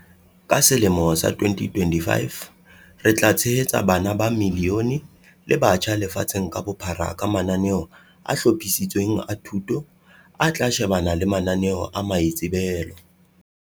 "Ka selemo sa 2025, re tla tshehetsa bana ba milione le batjha lefatsheng ka bophara ka mananeo a hlophisitsweng a thuto, a tla shebana le mananeo a maitsebelo."